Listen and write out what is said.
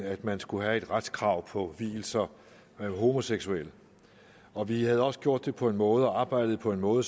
at man skulle have et retskrav på vielser af homoseksuelle og vi havde også gjort det på en måde og arbejdet på en måde